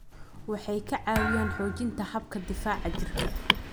Waxay ka caawiyaan xoojinta habka difaaca jirka.